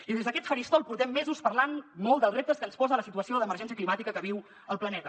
i des d’aquest faristol portem mesos parlant molt dels reptes que ens posa la situació d’emergència climàtica que viu el planeta